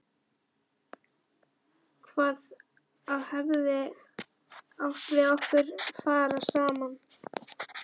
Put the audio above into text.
Hvað það hefði átt við okkur að fara saman.